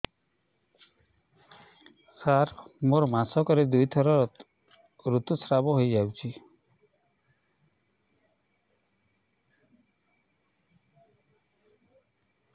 ସାର ମୋର ମାସକରେ ଦୁଇଥର ଋତୁସ୍ରାବ ହୋଇଯାଉଛି